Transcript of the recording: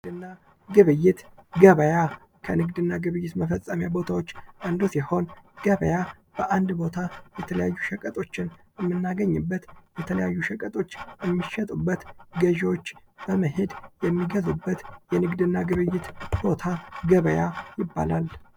ንግድ እና ግብይት ገበያ ከንግድ እና ግብይት መፈፀሚያ ቦታዎች አንዱ ሲሆን ገበያ በአንድ ቦታ የተለያዩ ሸቀጦችን የምናገኝበት የተለያዩ ሸቀጦች የሚሸጡበት ገዢዎች በመሄድ የሚገዙበት የንግድ እና ግብይት ቦታ ገበያ ይባላል::